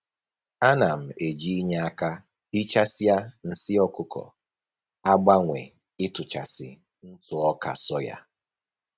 A na m eji inye aka hichasịa nsị ọkụkọ agbanwe ịtụchasị ntụ ọka soya